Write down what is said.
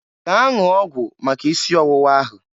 Gaa ṅụọ ọgwụ maka isi ọwụwa ahụ!